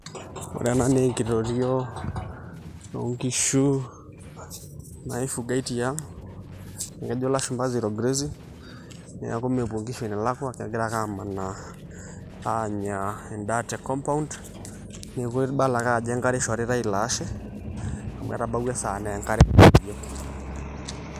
Ore ena naa enkitotio onkishu naifugai tiang', ekejo lashumpa zero grazing, neeku mepuo nkishu enelakwa kegira ake amanaa anya endaa te compound, neeku ibala ake ajo enkare ishoritai ilaashe, amu etabauwua esaa na enkare.